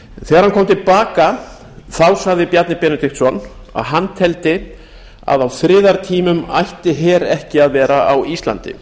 þegar að kom til baka sagði bjarni benediktsson að hann teldi að á friðartímum ætti her ekki að vera á íslandi